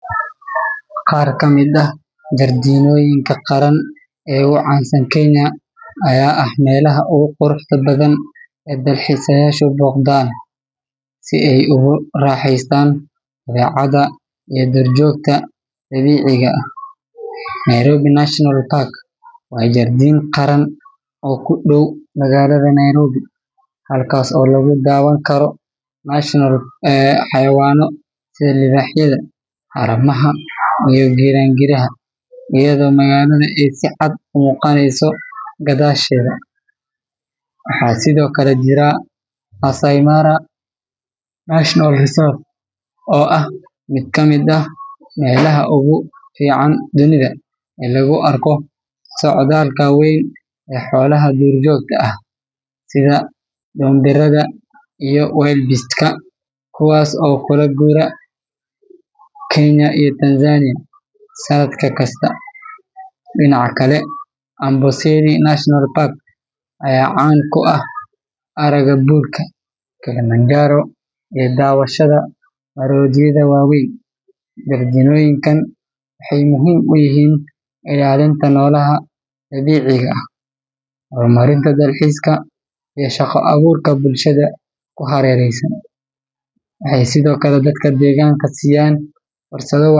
Qaar ka mid ah jardiinoyinka qaran ee ugu caansan Kenya ayaa ah meelaha ugu quruxda badan ee dalxiisayaashu booqdaan si ay ugu raaxaystaan dabeecadda iyo duurjoogta dabiiciga ah. Nairobi National Park waa jardiin qaran oo ku dhow magaalada Nairobi halkaas oo lagu daawan karo xayawaanno sida libaaxyada, haramaha, iyo giraangiraha iyadoo magaalada ay si cad u muuqanayso gadaasheeda. Waxaa sidoo kale jira Maasai Mara National Reserve, oo ah mid ka mid ah meelaha ugu fiican dunida ee lagu arko socdaalka weyn ee xoolaha duurjoogta sida dhoombirada iyo wildebeest-ka kuwaas oo u kala guura Kenya iyo Tanzania sanad kasta. Dhinaca kale, Amboseli National Park ayaa caan ku ah aragga buurka Kilimanjaro iyo daawashada maroodiyada waaweyn. Jardiinoyinkan waxay muhiim u yihiin ilaalinta noolaha dabiiciga ah, horumarinta dalxiiska, iyo shaqo abuurka bulshada ku hareeraysan. Waxay sidoo kale dadka deegaanka siiyaan fursado.